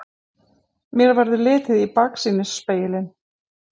Mér verður litið í baksýnisspegilinn.